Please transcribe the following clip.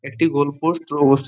একটি goal post ও